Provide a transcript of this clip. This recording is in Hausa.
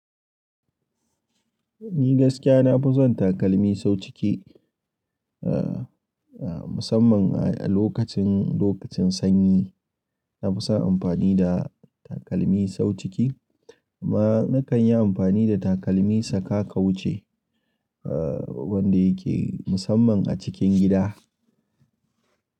Ni gaskiya na fi son takalmi sau ciki, a a musamman a lokacin, lokacin sanyi. Na fi son amfani da takalmi sau ciki amma na kan yi amfani da takalmi saka kawuce a wanda yake musamman a cikin gida.